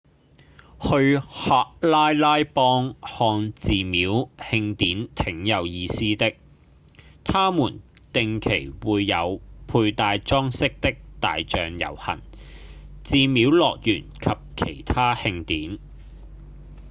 去喀拉拉邦看寺廟慶典挺有意思的他們定期會有佩戴裝飾的大象遊行、寺廟樂團及其他慶典